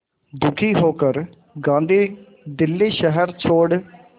दुखी होकर गांधी दिल्ली शहर छोड़